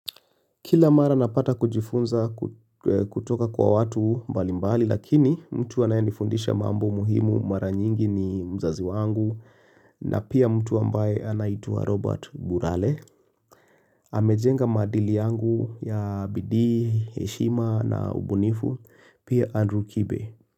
Kila mara napata kujifunza kutoka kwa watu mbalimbali lakini mtu anayenifundisha mambo muhimu mara nyingi ni mzazi wangu na pia mtu ambaye anaitwa Robert Burale. Amejenga maadili yangu ya bidii, heshima na ubunifu, pia Andrew Kibe.